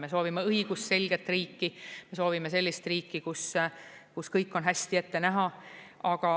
Me soovime õigusselget riiki, me soovime sellist riiki, kus kõik on hästi ette näha.